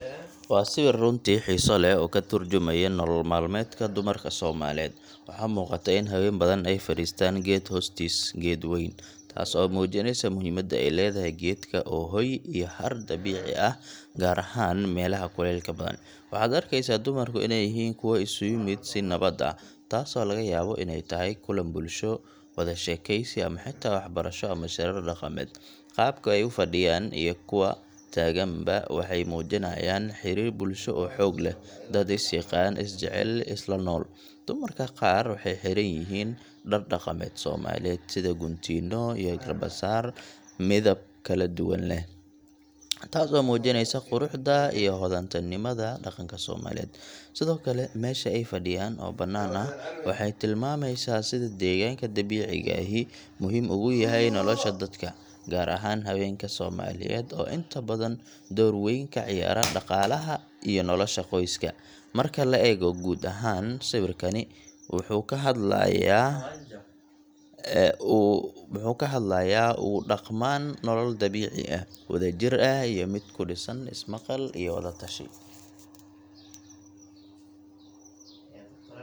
Waa sawir runtii xiiso leh oo ka tarjumaya nolol maalmeedka dumarka Soomaaliyeed. Waxaa muuqata in haween badan ay fariistaan geeed hoostiis geed weyn, taas oo muujinaysa muhiimadda ay leedahay geedka oo ah hoy iyo hadh dabiici ah gaar ahaan meelaha kulaylka badan. Waxaad arkaysaa dumarku inay yihiin kuwo isugu yimid si nabad ah, taasoo laga yaabo inay tahay kulan bulsho, wada sheekeysi, ama xitaa waxbarasho ama shirar dhaqameed. Qaabka ay u fadhiyaan iyo kuwa taaganba waxay muujinayaan xiriir bulsho oo xoog leh dad is yaqaan, is jecel, isla nool. Dumarka qaar waxay xiran yihiin dhar dhaqameed Soomaaliyeed sida guntiino iyo garbasaar midabo kala duwan leh, taasoo muujinaysa quruxda iyo hodantinimada dhaqanka Soomaaliyeed. Sidoo kale, meesha ay fadhiyaan oo banaan ah waxay tilmaamaysaa sida deegaanka dabiiciga ahi muhiim ugu yahay nolosha dadka, gaar ahaan haweenka Soomaaliyeed oo inta badan door weyn ka ciyaara dhaqaalaha iyo nolosha qoyska. Marka la eego guud ahaan, sawirkani wuxuu ka hadlayaa muxuu ka hadlayaa ugu dhaqmaan nolol dabiici ah, wada jir ah, iyo mid ku dhisan is-maqal iyo wada tashi.